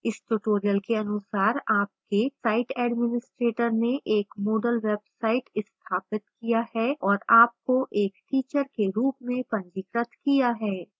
इस tutorial के अनुसार आपके site administrator ने एक moodle website स्थापित किया है और आपको एक teacher के रूप में पंजीकृत किया है